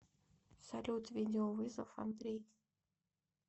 салют видеовызов андрей